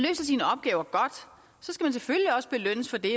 selvfølgelig også belønnes for det